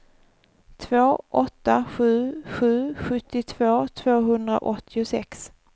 två åtta sju sju sjuttiotvå tvåhundraåttiosex